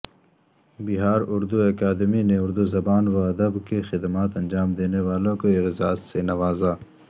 بہاراردو اکادمی نے اردوزبان وادب کی خدمات انجام دینے والوں کواعزاز سے نوازا